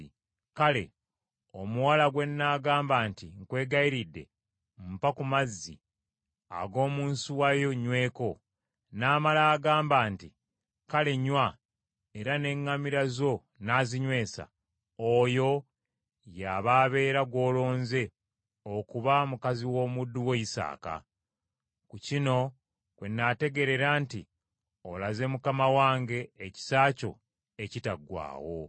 Kale omuwala gwe nnaagamba nti, ‘Nkwegayiridde mpa ku mazzi ag’omu nsuwa yo nnyweko,’ n’amala agamba nti, ‘Kale nnywa, era n’eŋŋamira zo nnaazinywesa,’ oyo y’aba abeera gw’olonze okuba mukazi w’omuddu wo Isaaka. Ku kino kwe nnaategeerera nti olaze mukama wange ekisa kyo ekitaggwaawo.”